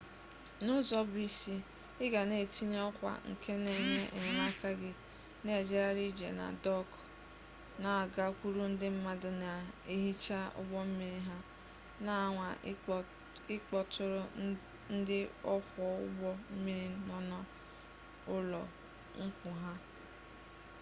n'ụzọ bụ isi ị ga na-etinye ọkwa nke na-enye enyemaka gị na-ejegharị ije na dọọkụ na-agakwuru ndị mmadụ na-ehicha ụgbọ mmiri ha na-anwa ịkpọtụrụ ndị ọkwọ ụgbọ mmiri nọ n'ụlọ nkwụ ha wdg